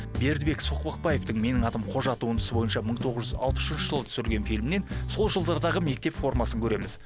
бердібек соқпақпаевтың менің атым қожа туындысы бойынша мың тоғыз жүз алпыс үшінші жылы түсірілген фильмнен сол жылдардағы мектеп формасын көреміз